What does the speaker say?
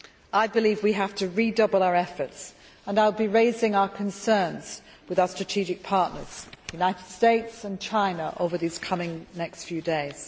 I believe we have to redouble our efforts and I will be raising our concerns with our strategic partners, the United States and China, over these coming next few days.